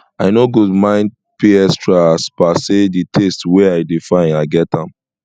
i no go mind pay extra as per say di taste wey i dey find i get am